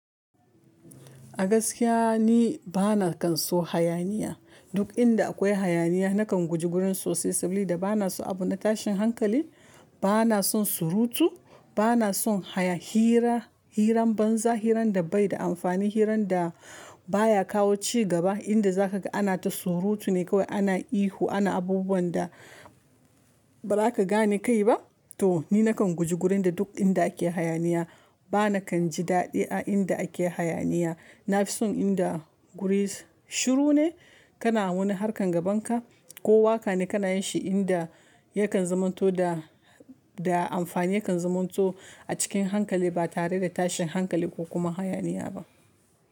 A gaskiya ni bana kan so hayaniya. Duk inda akwai hayaniya na kan guji gurin sosai saboda bana so abu na tashin hankali, bana son surutu, bana son haya hira, hirar banza, hirar da baida amfani, hirar da baya kawo cigaba. Inda za kaga ana ta surutu ne kawai, ana ihu, ana abubuwan da ba za ka gane kai ba. To ni na kan guji wurin da duk inda ake hayaniya. Bana kan ji daɗi a inda ake hayaniya. Na fi son inda guri shiru ne, kana wani harkan gaban ka ko waka ne kana yin shi inda yakan zumanto da, da amfani yakan zumamanto a cikin hankali ba tare da tashin hankali ko kuma hayaniya ba.